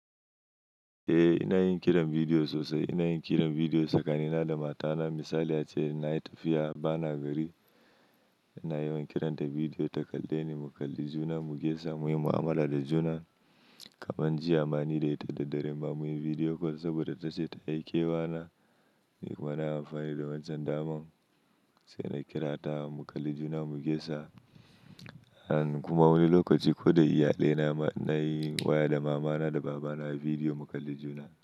Eh ina yin kiran video sosai. Ina yin kiran video tsakanina da matana. Misali ace, na yi tafiya bana gari, ina yawan kiran ta video ta kalle ni mu kalli juna mu gaisa, muyi mu'amala da juna. Kaman jiya ma ni da ita da dare ma munyi video call saboda ta ce ta yi kewa na. Ni kuma na yi amfani da wancan daman sai na kira ta mu kalli juna mu gesa. And kuma wani lokaci ko da iyalai na ma ina yin waya da mama na da baba na a video mu kalli juna.